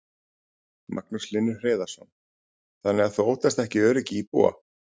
Magnús Hlynur Hreiðarsson: Þannig að þú óttast ekki öryggi íbúa?